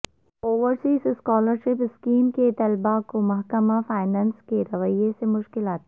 overseas scholarship scheme کے طلبہ کو محکمہ فینانس کے رویہ سے مشکلات